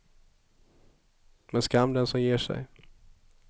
Men skam den som ger sig.